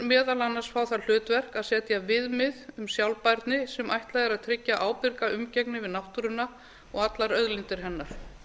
meðal annars fá það hlutverk að setja viðmið um sjálfbærni sem ætlað er að tryggja ábyrga umgengni við náttúruna og allar auðlindir hennar